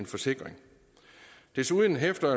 forsikring desuden hæfter